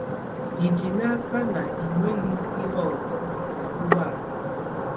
Ị ji n'aka na ị nweghị ihe ọzọ na ụgbọala?